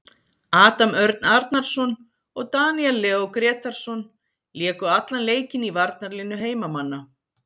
Adam Örn Arnarson og Daníel Leó Grétarsson léku allan leikinn í varnarlínu heimamanna.